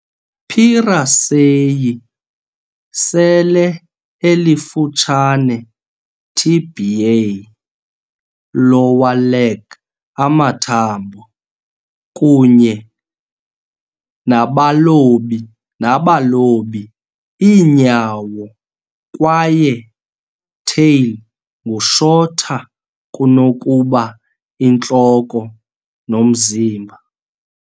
"P. raceyi" sele elifutshane tibiae, lower leg amathambo, kunye nabalobi iinyawo kwaye tail ngu shorter kunokuba intloko nomzimba.